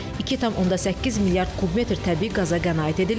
2,8 milyard kub metr təbii qaza qənaət edilib.